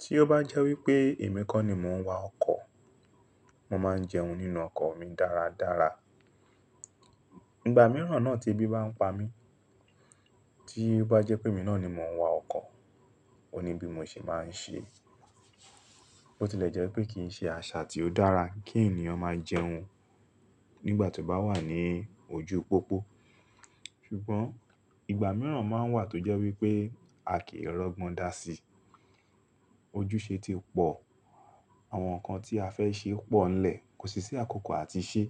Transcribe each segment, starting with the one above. Tí ó bá jẹ́ wí pé èmi kọ́ ni mò ń wa ọkọ̀, mo máa ń jẹun nínú ọkọ̀ mi dáradára. Ìgbà mìíràn náà tí ebi bá ń pa mí, tí ó bá jẹ́ pé èmi náà ni mò ń wa ọkọ̀, òní bí mo ṣe máa ń ṣe. Ó ti lè jẹ́ wí pé kì í ṣe àṣà tí ó dára kí ènìyàn máa jẹun nígbà tí ó bá wà ní ojú pópó. Ṣùgbọ́n ìgbà mìíràn máa ń wà tó jẹ́ wí pé a kìí rọ́gbọ́n dá sí. Ojúṣe ti pọ̀, àwọn nǹkan tí a fẹ́ ṣe pọ̀ nlẹ̀, kò sì sí àkókò àti ṣe.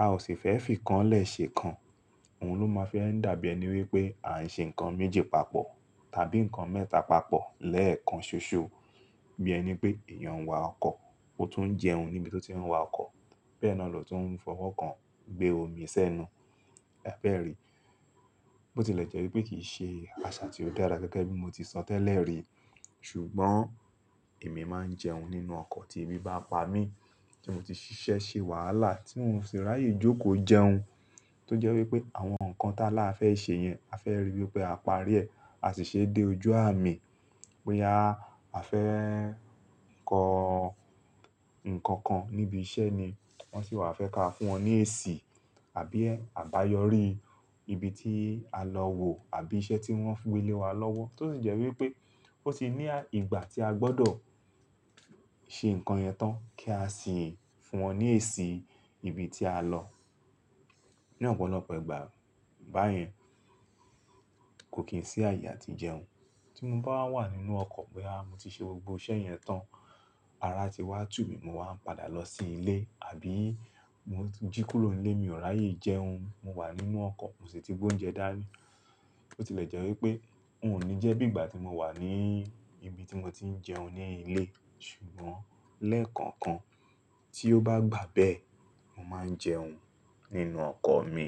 A ò sì fẹ́ fi kan lẹ́ ṣè kan. Òhun ló máa fi ń dàbí ẹni wípé à ń ṣe nǹkan méjì papọ̀ tàbí nǹkan mẹ́ta papọ̀ lẹ́ẹ̀kan ṣoṣo. Bí ẹni pé èèyàn ń wa ọkọ̀, ó tún ń jẹun níbi tí ó ti ń wa ọkọ̀. Bẹ́ẹ̀ náà lò tún ń fọwọ́ kan gbé omi sí ẹnu. Ẹ fẹ́ rí i. Ó ti lè jẹ́ wí pé kì í ṣe àṣà tí ó dára gẹ́gẹ́ bí mo ti sọ tẹ́lẹ̀ rí. Ṣùgbọ́n, èmi máa ń jẹun nínú ọkọ̀ tí ebi bá pa mí, tí mo ti ṣiṣẹ́ ṣe wàhálà tí n ò ṣe ráyè jókòó jẹun. Tó jẹ́ wí pé àwọn nǹkan táláa fẹ́ ṣe yẹn, a fẹ́ rí wí pé a parí ẹ̀, a sì ṣe dé ojú àmì. Bóyá a fẹ́ kọ nǹkan kan níbi iṣẹ́ ni wọ́n sì wà fẹ́ ká fún wọn ní èsì àbí ẹ àbáyọrí ibi tí a lọ wò àbí iṣẹ́ tí wọ́n fi gbé lé wa lọ́wọ́. Tó sì jẹ́ wí pé ó sì ní ìgbà tí a gbọ́dọ̀ ṣe nǹkan yẹn tán kí a sì fún wọn ní èsì ibi tí a lọ. Ní ọ̀pọ̀lọpọ̀ ìgbà báyẹn kò kí ń sí ààyè àti jẹun. Tí mo bá wà nínú ọkọ̀ pé à mo ti ṣe gbogbo iṣẹ́ yẹn tán, ara ti wá tù mí, mo wá ń padà lọ sí ilé àbí mo jí kúrò nílé mi ò ráyè jẹun. Mo wà nínú ọkọ̀, mo sì tí gbóúnjẹ dání. Ó ti lè jẹ́ wí pé n ò ní jẹ́ bí ìgbà tí mo wà ní ibi tí mo ti ń jẹun ní ilé. Ṣùgbọ́n lẹ́ẹ̀kan kan tí ó bá gbà bẹ́ẹ̀, mo máa ń jẹun nínú ọkọ̀ mi.